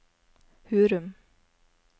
Hurum